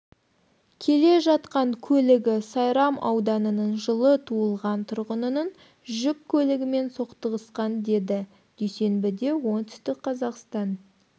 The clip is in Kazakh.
келе жатқан көлігі сайрам ауданының жылы туылған тұрғынының жүк көлігімен соқтығысқан деді дүйсенбіде оңтүстік қазақстан